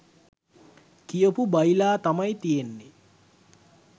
කියපු බයිලා තමයි තියෙන්නේ.